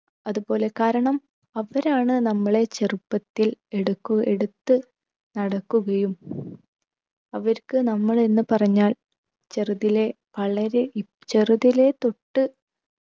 അതുപോലെ കാരണം അവരാണ് നമ്മളെ ചെറുപ്പത്തിൽ എടുക്കു എടുത്ത് നടക്കുകയു അവർക്ക് നമ്മൾ എന്ന് പറഞ്ഞാൽ ചെറുതിലെ വളരെ ഇ ചെറുതിലെ തൊട്ട്